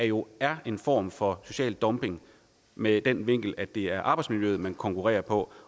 jo er en form for social dumping med den vinkel at det er arbejdsmiljøet man konkurrerer på